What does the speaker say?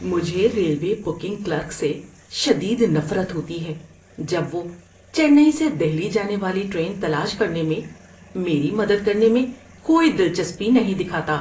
‏مجھے railway booking clerk سے شدید نفرت ہوتی ہے جب وہ چنئی سے دہلی جانے والی ٹرین تلاش کرنے میں میری مدد کرنے میں کوئی دلچسپی نہیں دکھاتا۔